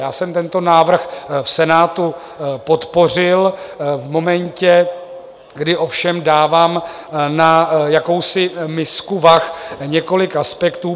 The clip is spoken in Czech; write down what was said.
Já jsem tento návrh v Senátu podpořil v momentě, kdy ovšem dávám na jakousi misku vah několik aspektů.